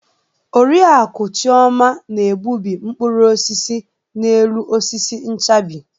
Oriakụ Chioma na-egbubi mkpụrụ osisi n'elu osisi nchabi.